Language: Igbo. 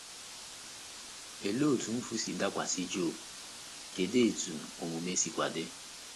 Olee otú mfu si dakwasị Job, kedu etu omume sikwa dị?